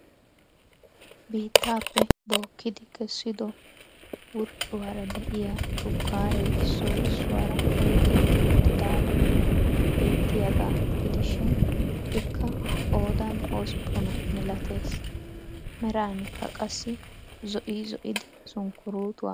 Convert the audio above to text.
Biittaappe bookkidi kessido wurccuwaara de'iyaa shukkaree issoy issuwaara oyqqetti uttidaagee beettiyagaa gidishin ikka qoodanhospphuna milatees, meranikka qassi zo'i zo'idi sunkkurutuwaa malatees.